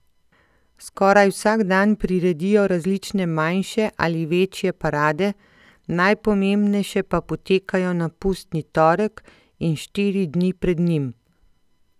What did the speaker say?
Skoraj vsak dan priredijo različne manjše ali večje parade, najpomembnejše pa potekajo na pustni torek in štiri dni pred njim.